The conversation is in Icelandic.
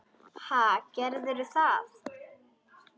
Ha, gerðu það.